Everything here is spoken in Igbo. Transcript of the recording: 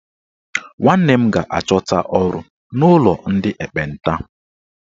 Nwanne m ga-achọta ọrụ n'ụlọ ndị ekpenta